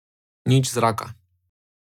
Nič zraka.